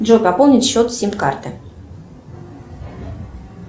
джой пополнить счет сим карты